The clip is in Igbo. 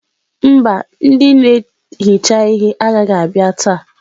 Mba ndị na-ehicha ihe agaghị abịa taa.